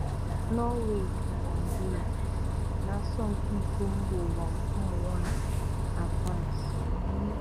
Norway na Naijiria n'asọmpi iko mba ụwa ụmụnwaanyị na France.